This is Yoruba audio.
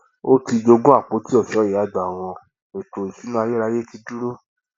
ó ti jogún àpoti ọṣọ ìyá àgbà wọn ètò ìṣúná ayérayé ti dúró